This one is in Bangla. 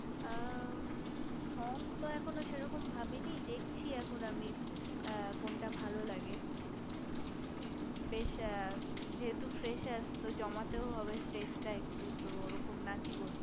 আ মু song তো এখনো সেরকম ভাবিনি দেখছি এখন আমি কোনটা ভালো লাগে বেশ যেহেতু fresher তো জমাতেও হবে stage টা তো একটু ওরকম নাচই